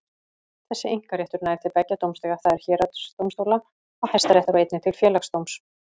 Þessi einkaréttur nær til beggja dómstiga, það er héraðsdómstóla og Hæstaréttar, og einnig til Félagsdóms.